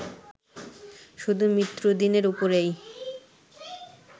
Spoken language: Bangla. শুধু মৃত্যুদিনের উপরেই